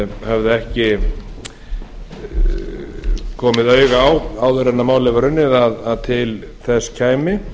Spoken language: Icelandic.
höfðu ekki komið auga á áður en málið var unnið að til þess kæmi